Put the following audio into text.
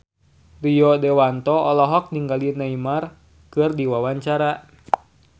Rio Dewanto olohok ningali Neymar keur diwawancara